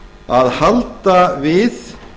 að halda við